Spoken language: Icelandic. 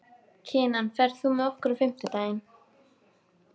Kinan, ferð þú með okkur á fimmtudaginn?